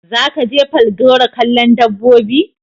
Za ka je Falgore kallon dabbobi?